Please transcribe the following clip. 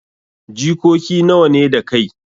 Jikoki nawa ne da kai.